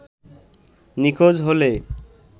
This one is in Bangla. নিখোঁজ হলে